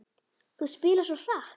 Þú spilar svo hratt.